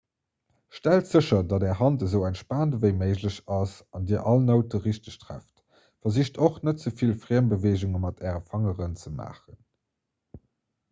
stellt sécher datt är hand esou entspaant ewéi méiglech ass an dir all noute richteg trefft versicht och net ze vill friembeweegunge mat äre fangeren ze maachen